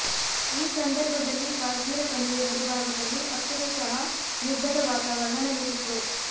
ಈ ಸಂದರ್ಭದಲ್ಲಿ ಕಾಶ್ಮೀರ ಕಣಿವೆ ಗಡಿಭಾಗದಲ್ಲಿ ಅಕ್ಷರಶಃ ಯುದ್ಧದ ವಾತಾವರಣ ನೆಲೆಸಿತ್ತು